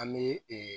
An bɛ ee